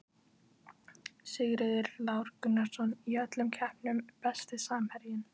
Sigurður Lár Gunnarsson í öllum keppnum Besti samherjinn?